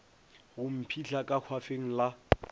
go mphihla ka hwafeng la